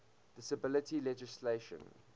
disability legislation